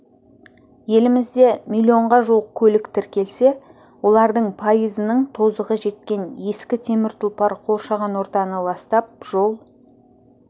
елімізде миллионға жуық көлік тіркелсе олардың пайызының тозығы жеткен ескі темір тұлпар қоршаған ортаны ластап жол